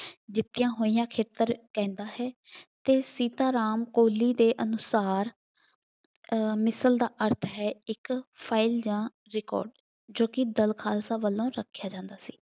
ਜਿੱਤੀਆਂ ਹੋਈਆਂ ਖੇਤਰ ਪੈਂਦਾ ਹੈ ਅਤੇ ਸੀਤਾ ਰਾਮ ਕੋਹਲੀ ਦੇ ਅਨੁਸਾਰ ਅਹ ਮਿਸਲ ਦਾ ਅਰਥ ਹੈ ਇੱਕ ਫਾਈਲ ਦਾ ਰਿਕਾਰਡ, ਜੋ ਕਿ ਦਲ ਖਾਲਸਾ ਵੱਲੋਂ ਰੱਖਿਆ ਜਾਂਦਾ ਸੀ।